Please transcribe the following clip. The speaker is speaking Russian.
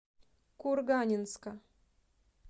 курганинска